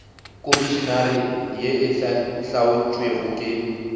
komišenare ye e hlaotšwego ke